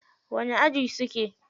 Wani aji suke.